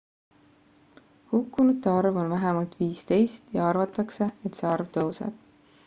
hukkunute arv on vähemalt 15 ja arvatakse et see arv tõuseb